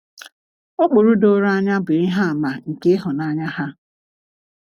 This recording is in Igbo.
Ụkpụrụ doro anya bụ ihe àmà nke ịhụnanya ha.